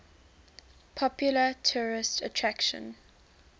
popular tourist attraction